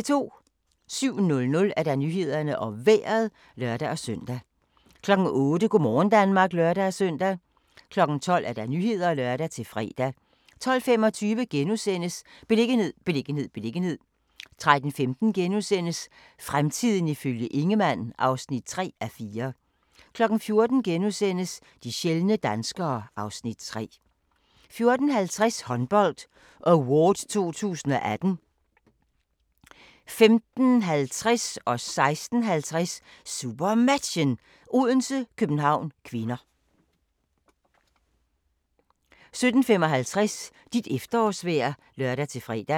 07:00: Nyhederne og Vejret (lør-søn) 08:00: Go' morgen Danmark (lør-søn) 12:00: Nyhederne (lør-fre) 12:25: Beliggenhed, beliggenhed, beliggenhed * 13:15: Fremtiden ifølge Ingemann (3:4)* 14:00: De sjældne danskere (Afs. 3)* 14:50: Håndbold Award 2018 15:50: SuperMatchen: Odense-København (k) 16:50: SuperMatchen: Odense-København (k) 17:55: Dit efterårsvejr (lør-fre)